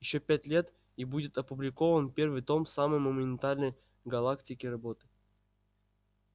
ещё пять лет и будет опубликован первый том самой монументальной в галактике работы